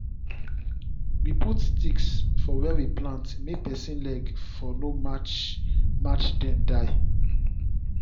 we put sticks for where we plant may pesin leg for no match match dem die